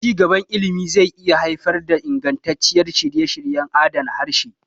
Ci gaban ilimi zai iya haifar da ingantaccen shirye-shiryen adana harshe.